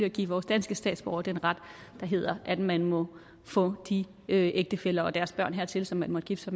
at give vores danske statsborgere den ret der hedder at man må få de ægtefæller og deres børn hertil som man måtte gifte